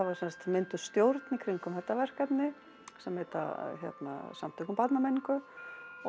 sem sagt mynduð stjórn í kringum þetta verkefni sem heita Samtök um barnamenningu og